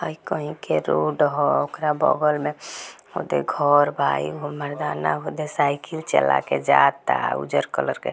यह कहीं की रोड ह ओकरा बगल में देखो घर बा एगो मर्दाना उधर साइकिल चला कर जाता उज्जर कलर के |